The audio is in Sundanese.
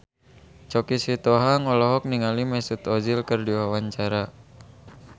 Choky Sitohang olohok ningali Mesut Ozil keur diwawancara